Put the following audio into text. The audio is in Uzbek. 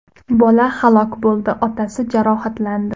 Bola halok bo‘ldi, otasi jarohatlandi.